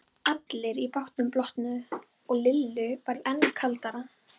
Allir í bátnum blotnuðu og Lillu varð enn kaldara.